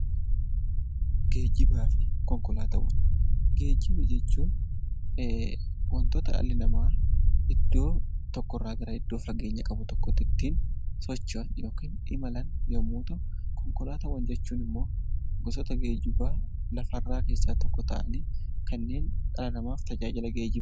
Geejjibaa fi Konkolaataawwan: Geejjiba jechuun wantoota dhalli namaa iddoo fageenya qabu tokko irraa iddoo biraatti ittiin socho'an yookaan immoo imalan yommuu ta'u konkolaataawwan immoo gosoota geejjibaa lafarraa keessaa tokko ta'anii kanneen dhala namaaf tajaajila geejjibaa....